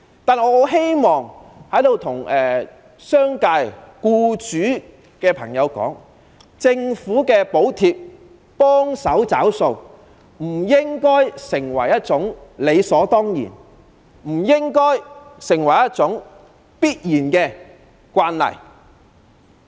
不過，我十分希望在這裏告訴商界僱主，政府補貼幫忙"找數"，不應視為理所當然的慣例。